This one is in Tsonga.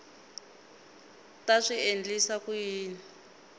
ta swi endlisa ku yini